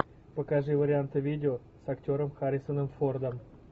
покажи варианты видео с актером харрисоном фордом